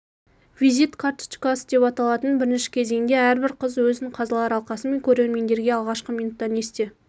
визит карточкасы деп аталатын бірінші кезеңде әрбір қыз өзін қазылар алқасы мен көрермендерге алғашқы минуттан есте